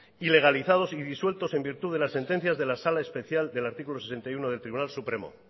ilegalizados y disueltos en virtud de la sentencia de la sala especial del artículo sesenta y uno del tribunal supremo